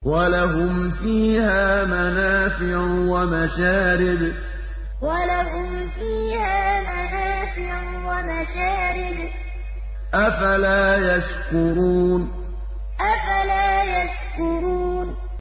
وَلَهُمْ فِيهَا مَنَافِعُ وَمَشَارِبُ ۖ أَفَلَا يَشْكُرُونَ وَلَهُمْ فِيهَا مَنَافِعُ وَمَشَارِبُ ۖ أَفَلَا يَشْكُرُونَ